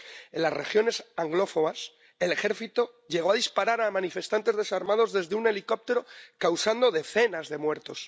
En las regiones anglófonas, el ejército llegó a disparar a manifestantes desarmados desde un helicóptero, causando decenas de muertos.